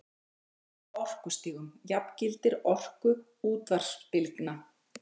Munurinn á orkustigum jafngildir orku útvarpsbylgna.